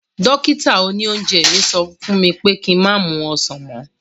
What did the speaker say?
Dókítà òní oúnjẹ mi sọ fún mi pé ki má mu ọsàn mọ́